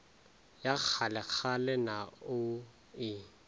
ya kgalekgale na o e